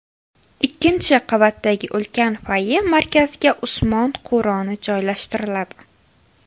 Ikkinchi qavatdagi ulkan foye markaziga Usmon Qur’oni joylashtiriladi.